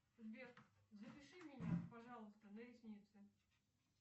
сбер запиши меня пожалуйста на ресницы